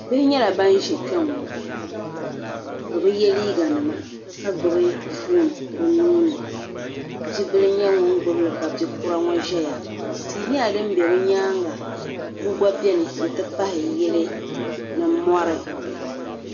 bihi nyɛla ban ʒe kpɛniŋɔ bɛ bi ye liiganima ka gbubi foon bɛ nuu ni bibila n-nyɛ ŋun gbubi li ka bi' kura ŋɔ ʒɛya tihi nɛla din be bɛ nyaanga bua gba bɛni nti pahi yili ni mɔri